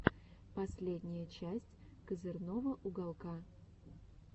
последняя часть козырного уголка